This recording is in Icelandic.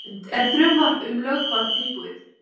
Hrund: Er frumvarp um lögbann tilbúið?